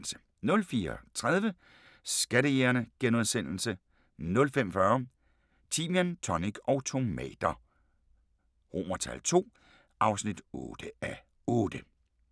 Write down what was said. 04:30: Skattejægerne * 05:40: Timian, tonic og tomater II (8:8)